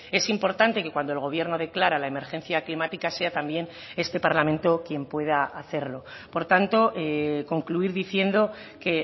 es importante que cuando el gobierno declara la emergencia climática sea también este parlamento quien pueda hacerlo por tanto concluir diciendo que